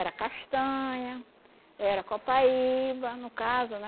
Era castanha, era copaíba, no caso, né?